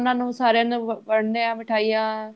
ਉਹਨਾ ਨੂੰ ਸਾਰਿਆਂ ਨੂੰ ਵੰਡਦੇ ਦੇ ਹਾਂ ਮਿਠਾਈਆਂ